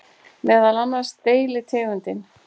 Meðal annars deilitegundin